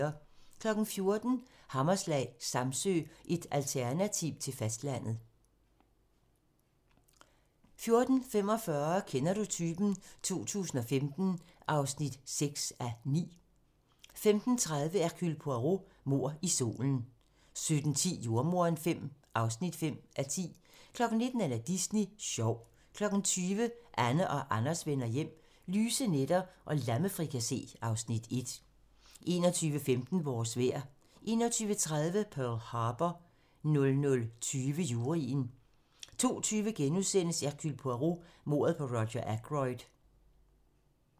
14:00: Hammerslag - Samsø, et alternativ til fastlandet 14:45: Kender du typen? 2015 (6:9) 15:30: Hercule Poirot: Mord i solen 17:10: Jordemoderen V (5:10) 19:00: Disney Sjov 20:00: Anne og Anders vender hjem - lyse nætter og lammefrikassé (Afs. 1) 21:15: Vores vejr 21:30: Pearl Harbor 00:20: Juryen 02:20: Hercule Poirot: Mordet på Roger Ackroyd *